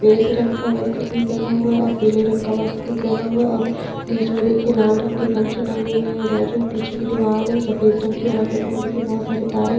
सफ़ेद रंग का वस्त्र भी पहना हुआ है और पिले रंग का वस्त्र भी पहना हुआ हैऔर बिच में देखिये लाल रंग के गमछे टागे हुए है और जो पीछे की दीवार है वो सफ़ेद रंग की है और अगल-बगल देखिये बहुत सारे तारे है।